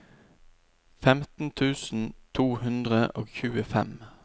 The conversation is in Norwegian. femten tusen to hundre og tjuefem